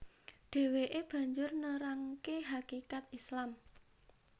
Dheweke banjur nerangke hakikat Islam